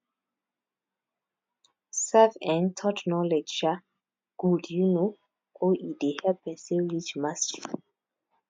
self um taught knowledge um good um o e dey help person reach mastery